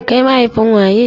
Kai mahaifin waye?